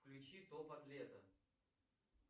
включи топ атлета